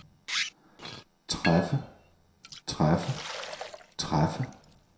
træffe træffe træffe